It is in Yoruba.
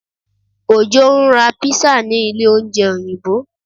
Ojó ń ra pizza ní ilé oúnjẹ Òyìnbó